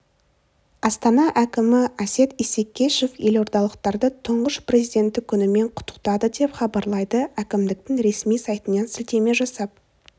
астана әкімі әсет исекешев елордалықтарды тұңғыш президенті күнімен құттықтады деп хабарлайды әкімдіктің ресми сайтына сілтеме жасап